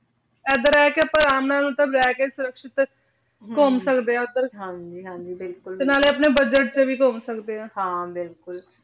ਇਧਰ ਆਯ ਕੇ ਲੇ ਕੇ ਸ਼੍ਰੁਕ੍ਸ਼ਿਤ ਘੁਮ ਸਕਦੇ ਆਂ ਹਾਂਜੀ ਹਾਂਜੀ ਬਿਲਕੁਲ ਤੇ ਨਾਲੇ ਅਪਨੇ ਬੁਦ੍ਗੇਤ ਤੇ ਵ ਘੁਮ ਸਕਦੇ ਆਂ ਹਾਂ ਬਿਲਕੁਲ